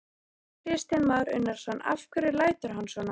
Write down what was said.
Kristján Már Unnarsson: Af hverju lætur hann svona?